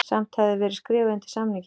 Samt hefði verið skrifað undir samninginn